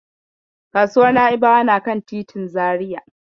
Kasuwar Na'ibawa na kan titin Zariya.